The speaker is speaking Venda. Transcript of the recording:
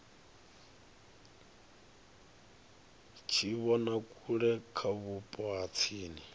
tshivhonakule kha vhupo ha tsini